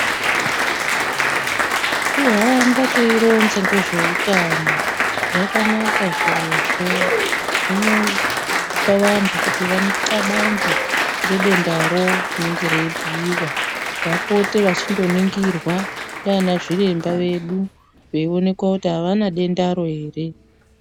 Zvekuhamba tiyironza ngezvehutano, zvakanaka zvirizvozvo zvinopa antu kutiva cabange ngentendaro rinenge riribhuyiwa vapote vachinoningirwa neana zviremba vedu veyiwonekwa kuti havana dendaro here .